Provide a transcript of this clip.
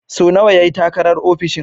So nawa ya yi takarar ofishin?